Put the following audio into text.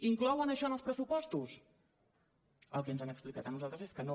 inclouen això en els pressupostos el que ens han explicat a nosaltres és que no